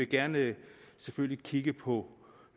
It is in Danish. gerne kigge på